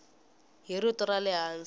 hi rito ra le hansi